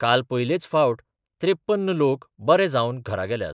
काल पयलेच फावट त्रेप्पन्न लोक बरे जावन घरा गेल्यात.